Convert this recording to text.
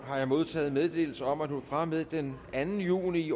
har jeg modtaget meddelelse om at hun fra og med den anden juni